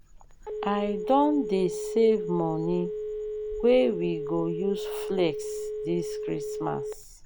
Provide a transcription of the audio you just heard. i don dey save moni wey we go use flex dis christmas.